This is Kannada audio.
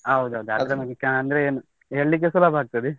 ಹೌದೌದು ಅಂದ್ರೆ ಏನು ಹೇಳಿಕ್ಕೆ ಸುಲಬ ಆಗ್ತದೆ.